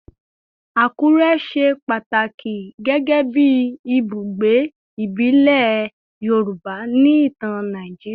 Akure ṣe pataki gẹgẹbi ibugbe ibile Yoruba ni itan Naijiria